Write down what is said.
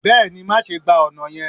bẹẹni, maṣe gba ọna yẹn.